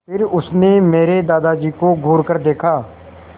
फिर उसने मेरे दादाजी को घूरकर देखा